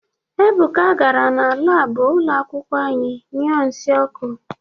Ebuka gara na laabụ ụlọ akwụkwọ anyị nyuọ nsị ọkụ.